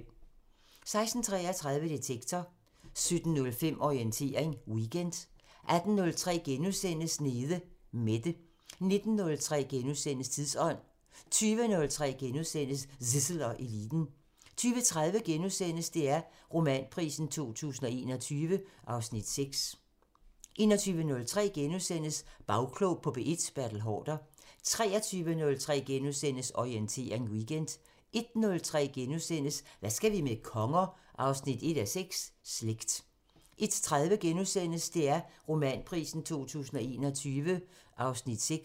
16:33: Detektor 17:05: Orientering Weekend 18:03: Nede Mette * 19:03: Tidsånd * 20:03: Zissel og Eliten * 20:30: DR Romanprisen 2021 (Afs. 6)* 21:03: Bagklog på P1: Bertel Haarder * 23:03: Orientering Weekend * 01:03: Hvad skal vi med konger? 1:6 – Slægt * 01:30: DR Romanprisen 2021 (Afs. 6)*